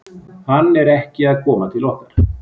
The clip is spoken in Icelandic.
Hann er ekki að koma til okkar.